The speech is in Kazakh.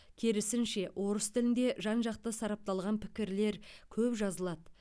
керісінше орыс тілінде жан жақты сарапталған пікірлер көп жазылады